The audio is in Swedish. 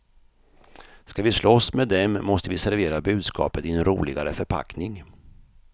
Ska vi slåss med dem måste vi servera budskapet i en roligare förpackning.